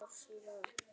Þú gekkst á jörðu hér.